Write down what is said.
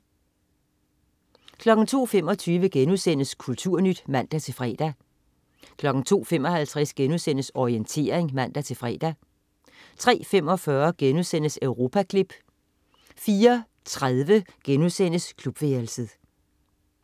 02.25 Kulturnyt* (man-fre) 02.55 Orientering* (man-fre) 03.45 Europaklip* 04.30 Klubværelset*